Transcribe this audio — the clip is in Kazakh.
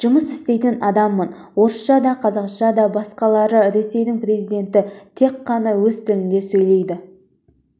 жұмыс істейтін адаммын орысша да қазақша да басқалары ресейдің президенті тек қана өз тілінде сөйлейді